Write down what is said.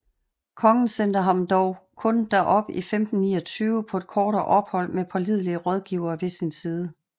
Kongen sendte ham dog kun derop i 1529 på et kortere ophold med pålidelige rådgivere ved sin side